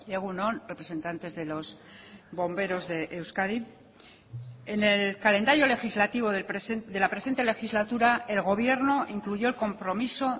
egun on representantes de los bomberos de euskadi en el calendario legislativo de la presente legislatura el gobierno incluyó el compromiso